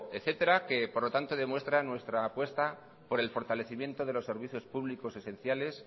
etcétera que por lo tanto demuestra nuestra apuesta por el fortalecimiento de los servicios públicos esenciales